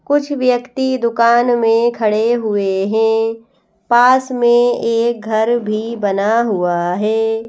कुछ व्यक्ति दुकान में खड़े हुए हैं पास में एक घर भी बना हुआ है।